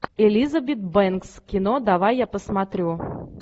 элизабет бэнкс кино давай я посмотрю